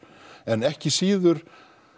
en ekki síður